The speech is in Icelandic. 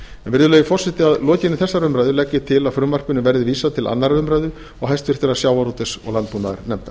virðulegi forseti að lokinni þessari umræðu legg ég til að frumvarpinu verði vísað til annarrar umræðu og háttvirtur sjávarútvegs og landbúnaðarnefndar